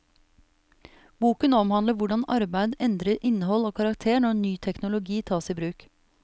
Boken omhandler hvordan arbeid endrer innhold og karakter når ny teknologi tas i bruk.